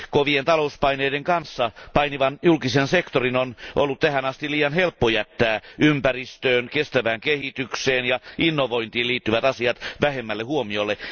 Kovien talouspaineiden kanssa painivan julkisen sektorin on ollut tähän asti liian helppo jättää ympäristöön, kestävään kehitykseen ja innovointiin liittyvät asiat vähemmälle huomiolle.